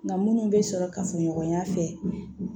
Nka minnu bɛ sɔrɔ kafoɲɔgɔnya fɛ